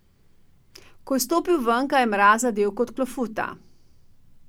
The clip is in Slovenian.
Ko je stopil ven, ga je mraz zadel kot klofuta.